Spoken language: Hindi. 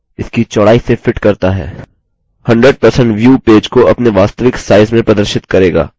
100% view पेज को अपने वास्तविक size में प्रदर्शित करेगा